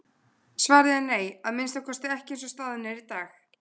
Hin hulda hönd er aflmikil þótt ekki sé hún óbrigðul.